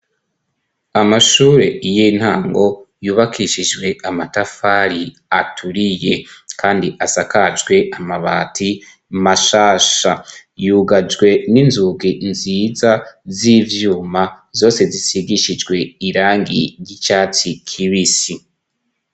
Amashure y'intango yubakishijwe amatafari aturiye kandi asakajwe amabati mashasha, yugajwe n'inzugi nziza z'ivyuma zose zisigishijwe irangi ry'icatsi kibisi.